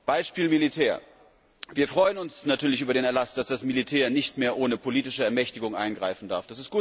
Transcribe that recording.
Beispiel Militär Wir freuen uns natürlich über den Erlass, dass das Militär nicht mehr ohne politische Ermächtigung eingreifen darf.